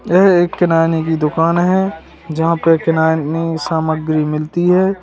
यह एक किराने की दुकान है जहां पे किराने की सामग्री मिलती हैं।